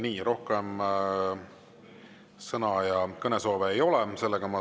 Nii, rohkem sõnavõtu- ja kõnesoove ei ole.